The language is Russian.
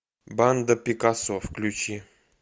банда пикассо включи